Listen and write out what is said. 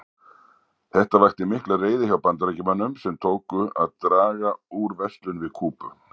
Þetta vakti mikla reiði hjá Bandaríkjamönnum sem tóku að draga úr verslun við Kúbu.